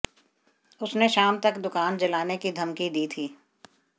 उसने शाम तक दुकान जलाने की धमकी दी थी